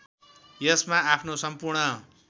यसमा आफ्नो सम्पूर्ण